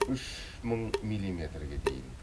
үш мың милиметрге дейін